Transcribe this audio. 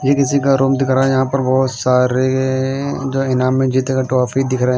ये किसी का रूम दिख रहा है यहां पर बहुत सारे जो इनाम में जीते गए ट्रॉफी दिख रहे।